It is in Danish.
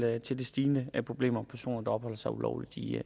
er til det stigende problem med personer der opholder sig ulovligt i